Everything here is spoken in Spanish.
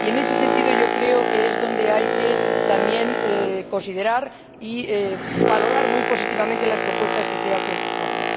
Y, en ese sentido, yo creo que es donde hay también que considerar y valorar muy positivamente las propuestas que se hacen en el informe.